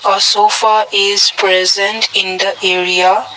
a sofa is present in the area.